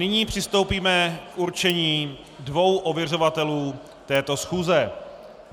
Nyní přistoupíme k určení dvou ověřovatelů této schůze.